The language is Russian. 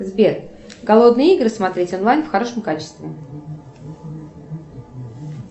сбер голодные игры смотреть онлайн в хорошем качестве